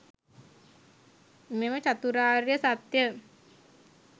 මෙම චතුරාර්ය සත්‍යය